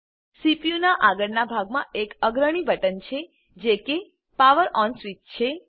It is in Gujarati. સીપીયુનાં આગળનાં ભાગમાં એક અગ્રણી બટન છે જે કે પાવર ઓન સ્વીચ છે